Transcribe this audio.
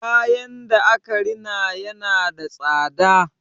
Kayan da aka rina yana da tsada.